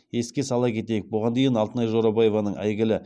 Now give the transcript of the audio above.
еске сала кетейік бұған дейін алтынай жорабаеваның әйгілі